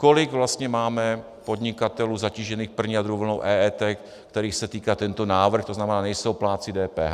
Kolik vlastně máme podnikatelů zatížených první a druhou vlnou EET, kterých se týká tento návrh, to znamená, nejsou plátci DPH?